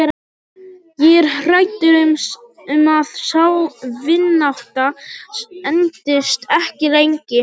Ég er hræddur um að sú vinátta entist ekki lengi.